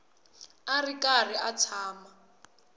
a ri karhi a tshama